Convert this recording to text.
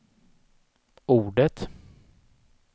ordet